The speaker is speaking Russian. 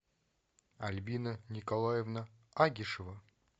альбина николаевна агишева